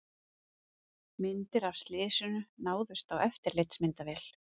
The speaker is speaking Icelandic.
Myndir af slysinu náðust á eftirlitsmyndavél